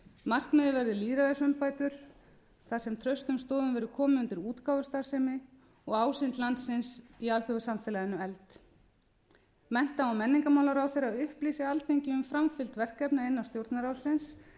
verði lýðræðisumbætur þar sem traustum stoðum verði komið undir útgáfustarfsemi og ásýnd landsins í alþjóðasamfélaginu efld mennta og menningarmálaráðherra upplýsi alþingi um framfylgd verkefna innan stjórnarráðsins